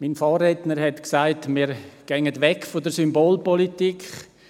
Mein Vorredner hat gesagt, wir gingen weg von der Symbolpolitik.